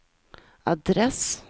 adress